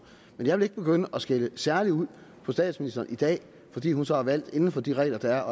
men jeg vil ikke begynde at skælde særlig ud på statsministeren i dag fordi hun så har valgt inden for de regler der